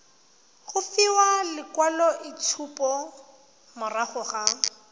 go fiwa lekwaloitshupo morago ga